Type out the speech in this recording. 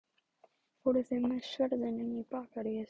Fóruð þið með sverðin inn í Bakaríið?